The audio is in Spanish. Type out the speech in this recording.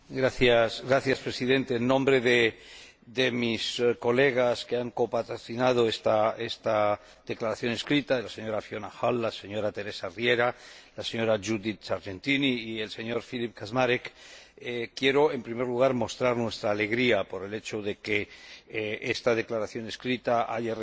Señor Presidente, en nombre de mis colegas que han copatrocinado esta Declaración por escrito, de la señora Fiona Hall, la señora Teresa Riera, la señora Judith Sargentini y el señor Filip Kaczmarek, quiero, en primer lugar, mostrar nuestra alegría por el hecho de que esta Declaración por escrito haya recibido